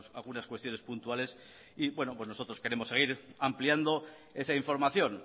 algunas cuestiones puntuales y bueno pues nosotros queremos seguir ampliando esa información